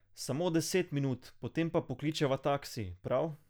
Samo deset minut, potem pa pokličeva taksi, prav?